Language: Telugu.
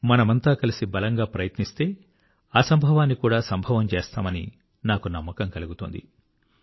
మనమంతా కలిసి బలంగా ప్రయత్నిస్తే అసంభవాన్ని కూడా సంభవం చేస్తామని నాకు నమ్మకం కలుగుతోంది